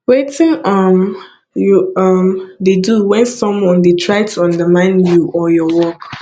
wetin um you um dey do when someone dey try to undermine you or your work